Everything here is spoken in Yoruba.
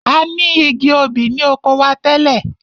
A ni igi obì ni oko wa tẹ́lẹ̀.